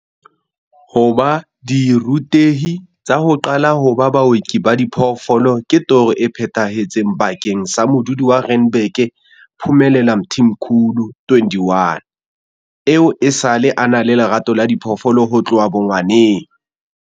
Ho ba dirutehi tsa ho qala ho ba baoki ba diphoofolo ke toro e phethahetseng bakeng sa modudi wa Randburg Phumelela Mthimkhulu, 21, eo esale a na le lerato la diphoofolo ho tloha bongwaneng.